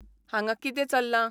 हांगा किते् चल्लां?